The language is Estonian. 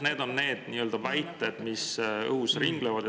Need on need väited, mis nagu õhus ringlevad.